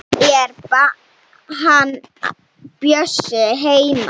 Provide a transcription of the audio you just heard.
Er hann Bjössi heima?